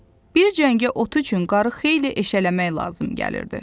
Bir cəngə ot üçün qarı xeyli eşələmək lazım gəlirdi.